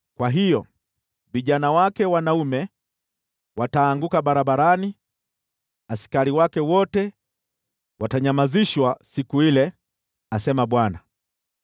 Kwa hiyo, vijana wake wanaume wataanguka barabarani; askari wake wote watanyamazishwa siku ile,” asema Bwana .